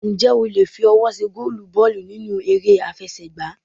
Ǹjẹ́ o le fi ọwọ́ ṣe gólùù bọ́ọ̀lù nínú eré àfẹsẹ̀ gbá?